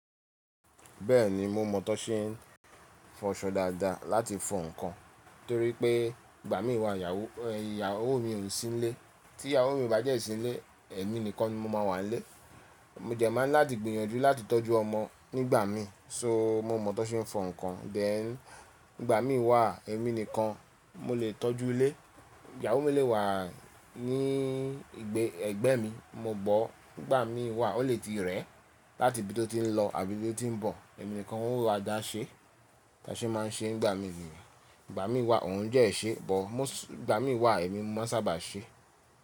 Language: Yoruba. Bẹ́ẹ̀ni mo mọ̀ tó ṣe ń fọṣọ dáadáa láti fọ ǹkan torí pé ìgbà mí wà ìyàwó mi ò sí nílé, tí ìyàwó mi bá jẹ̀ sílé èmi nìkan ni mo máa wà nílé. Mo dẹ̀ máa ń láti gbìyànjú láti tọ́jú ọmọ nígbà mí, so mo mọ̀ tó ṣe ń fọ ǹkan. Then ígbà mí wà èmi nìkan mo lè tọ́jú ilé. Ìyàwó mi lè wà ní ẹgbẹ́ mi, mo gbọ́ nígbà mí wà ó lè ti rẹ̀ láti ibi tó ti ń lọ àbí níbí tó ti ń bọ̀, èmi nìkan ó máa dá ṣe, ìtàṣe máa ń ṣe nígbà mí wà. Nígbà mí wà òun dẹ́ ṣe buh, nígbà mí wà èmi mo sábà ṣe.